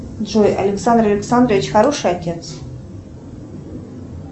джой александр александрович хороший отец